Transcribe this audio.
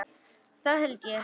Það held ég